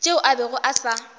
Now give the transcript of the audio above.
tšeo a bego a sa